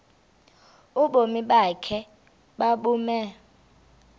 ubomi bakho mabube